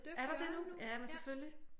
Er der det nu? Jamen selvfølgelig